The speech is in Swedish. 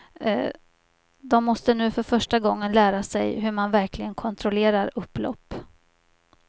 De måste nu för första gången lära sig hur man verkligen kontrollerar upplopp.